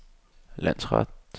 landsret